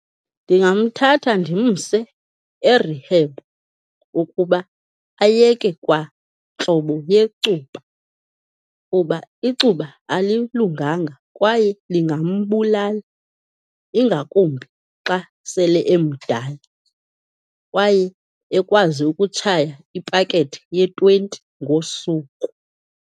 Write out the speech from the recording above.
Ndingamthatha ndimse e-rehab ukuba ayeke kwantlobo yecuba kuba icuba alilunganga kwaye lingambulala, ingakumbi xa sele emdala, kwaye ekwazi ukutshaya ipakethe ye-twenty ngosuku.